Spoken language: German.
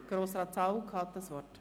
– Grossrat Zaugg hat das Wort.